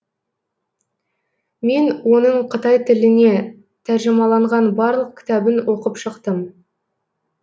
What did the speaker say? мен оның қытай тіліне тәржімаланған барлық кітабын оқып шықтым